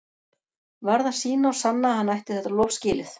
Varð að sýna og sanna að hann ætti þetta lof skilið.